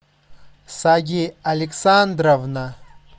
сади александровна